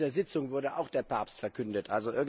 während dieser Sitzung wurde auch der Papst verkündet.